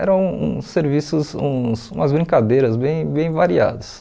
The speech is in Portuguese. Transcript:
Eram uns serviços, uns umas brincadeiras bem bem variadas.